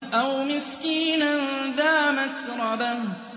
أَوْ مِسْكِينًا ذَا مَتْرَبَةٍ